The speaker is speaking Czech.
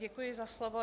Děkuji za slovo.